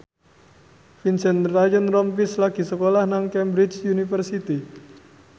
Vincent Ryan Rompies lagi sekolah nang Cambridge University